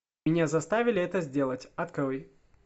меня заставили это сделать открой